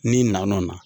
N'i na n'o la